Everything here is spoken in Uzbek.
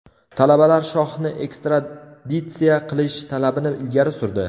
Talabalar shohni ekstraditsiya qilish talabini ilgari surdi.